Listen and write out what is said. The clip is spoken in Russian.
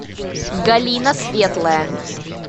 галина светлая